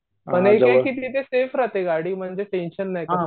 गाडी म्हणजे टेंशन नाही